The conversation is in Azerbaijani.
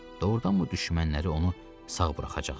Doğrudanmı düşmənləri onu sağ buraxacaqdılar?